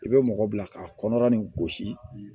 I bɛ mɔgɔ bila ka kɔnɔ nin gosi